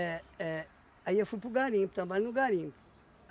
é. Aí eu fui para o garimpo, trabalhar no garimpo.